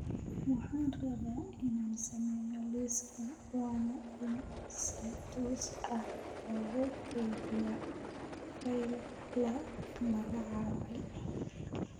Waxaan rabaa inaan sameeyo liis waana in si toos ah loogu kaydiyaa fayl la magacaabay